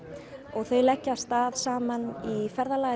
og þeir leggja af stað saman í ferðalag